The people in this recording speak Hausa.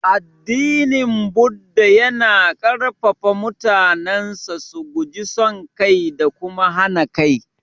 Addinin Buddah yana ƙarfafa mutanensa su guji son kai da kuma hana kai.